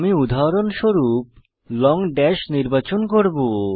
আমি উদাহরণস্বরূপ long dash নির্বাচন করব